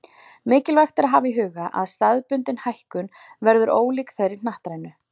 Mikilvægt er að hafa í huga að staðbundin hækkun verður ólík þeirri hnattrænu.